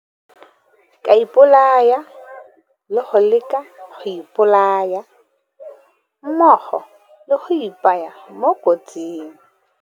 Ka ipolaya le go leka go ipolaya, mmogo le go ipaya mo kotsing.